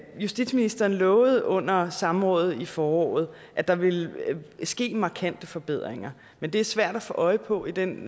justitsministeren lovede under samrådet i foråret at der ville ske markante forbedringer men de er svære at få øje på i den